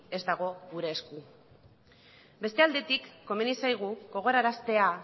ez dago gure esku bestaldetik komeni zaigu gogoraraztea